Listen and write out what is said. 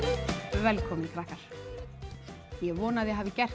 velkomnir krakkar ég vona að þið hafið gert